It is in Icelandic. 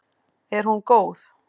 Er hún góð?